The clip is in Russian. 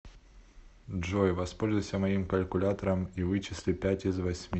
джой воспользуйся моим калькуляторам и вычисли пять из восьми